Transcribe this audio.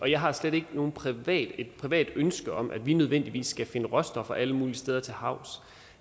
jeg har slet ikke noget privat privat ønske om at vi nødvendigvis skal finde råstoffer alle mulige steder til havs